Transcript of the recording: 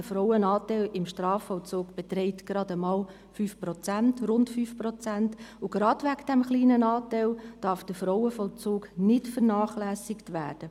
Der Frauenanteil im Strafvollzug beträgt gerade einmal rund 5 Prozent, und gerade wegen dieses kleinen Anteils darf der Frauenvollzug nicht vernachlässigt werden.